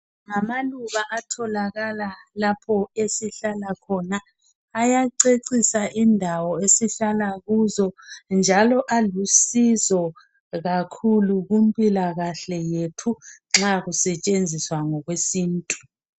Ngamaluba atholakala lapho esihlala khona, ayacecisa indawo esihlala kuzo njalo alusizo kakhulu kumpilakahle yethu nxa kusetshenziswa ngokwesintu.